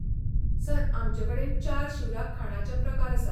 Sir, आमचेंकडेन चार शिवराक खाणाचे प्रकार आसात.